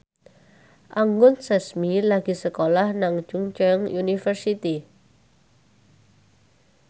Anggun Sasmi lagi sekolah nang Chungceong University